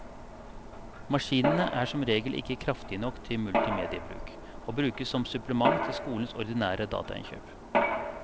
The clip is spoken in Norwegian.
Maskinene er som regel ikke kraftige nok til multimediebruk, og brukes som supplement til skolens ordinære datainnkjøp.